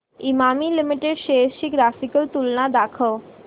Emami limited shares ची graphical तुलना दाखव